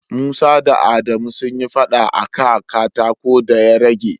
Musa da Adamu sun yi fada a ka katako da ya rage.